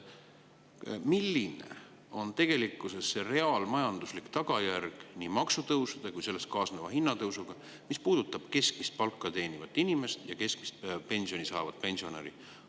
Milline on tegelikkuses nii maksutõusude kui ka nendega kaasneva hinnatõusu reaalmajanduslik tagajärg, mis puudutab keskmist palka teenivat inimest ja keskmist pensioni saavat pensionäri?